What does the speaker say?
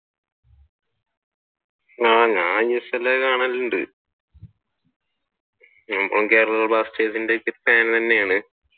ഞാൻ isl കാണലുണ്ട് മുമ്പും കേരള ബ്ലാസ്റ്റേഴ്സിന്റെ ഫാൻ തന്നെയാണ്.